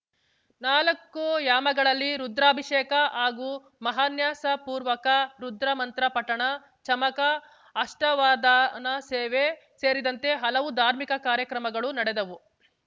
ನಾಲ್ಕು ಯಾಮಗಳಲ್ಲಿ ರುದ್ರಾಭಿಷೇಕ ಹಾಗೂ ಮಹಾನ್ಯಸಪೂರ್ವಕ ರುದ್ರಮಂತ್ರ ಪಠಣ ಚಮಕ ಅಷ್ಠಾವಧಾನಸೇವೆ ಸೇರಿದಂತೆ ಹಲವು ಧಾರ್ಮಿಕ ಕಾರ್ಯಕ್ರಮಗಳು ನಡೆದವು